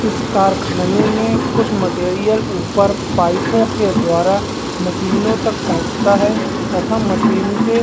इस कारखाने में कुछ मटेरियल ऊपर पाइपों के द्वारा मशीनों तक पहुंचता है तथा मशीन से --